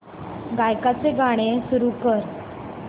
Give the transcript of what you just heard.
गायकाचे गाणे सुरू कर